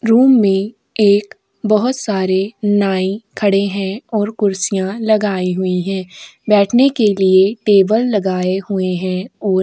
room में एक बहुत सारे नाइ खड़े हैं और कुर्सियां लगाई हुई हैं बैठने के लिए टेबल लगाए हुए हैं और --